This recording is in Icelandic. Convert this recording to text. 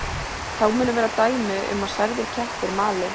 Þá munu vera dæmi um að særðir kettir mali.